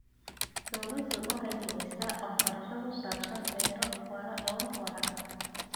Dawladdu waxay bixisaa waxbarasho ku saabsan beero waara oo waara.